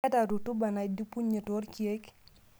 Keeta rutuba naidipunye toorkiek.